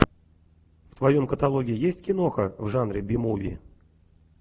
в твоем каталоге есть киноха в жанре би муви